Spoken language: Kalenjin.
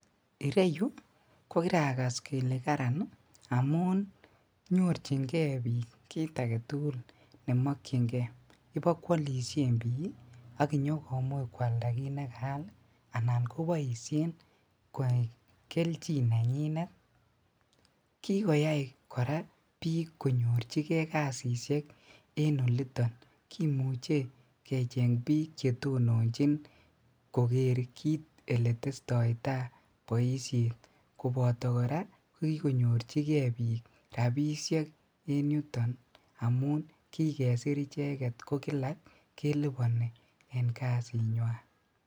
Ireyu kokirakas kele karan ii amun nyorjingee bik kit agetugul nemokyingee ibokwolishen bik ii ak inyokomuch kwalda kit nekaal anan koboishen koai keljin nenyinet ,ki koyai koraa bik konyorjigee kasisiek en oliton kimuche kecheng bik chetononjin koker kit eletestoitaa boishet koboto koraa kikonyorjigee bik rabishek en yuton amun kikesir icheget ko kila keliboni en kasinywan.